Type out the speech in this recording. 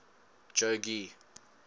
jogee